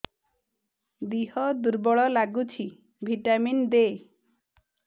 ଦିହ ଦୁର୍ବଳ ଲାଗୁଛି ଭିଟାମିନ ଦେ